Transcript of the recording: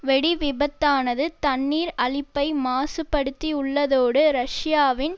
வெடி விபத்தானது தண்ணீர் அளிப்பை மாசுபடுத்தியுள்ளதோடு ரஷ்யாவின்